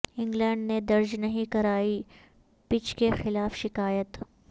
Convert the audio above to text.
England نے درج نہیں کرائی پچ کے خلاف شکایت